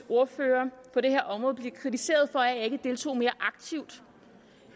ordfører på det her område kritiseret for at jeg ikke deltog mere aktivt